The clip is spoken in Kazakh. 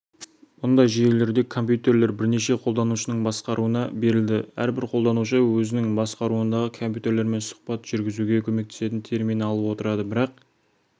мұндай жүйелерде компьютер бірнеше қолданушының басқаруына берілді әрбір қолданушы өзінің басқаруындағы компьютермен сұхбат жүргізуге көмектесетін термин алып отырды бірақ